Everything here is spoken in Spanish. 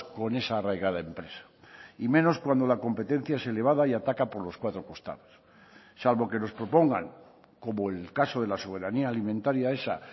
con esa arraigada empresa y menos cuando la competencia es elevada y ataca por los cuatro costados salvo que nos propongan como el caso de la soberanía alimentaria esa